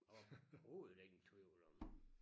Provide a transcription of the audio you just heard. Overhoved ingen tvivl om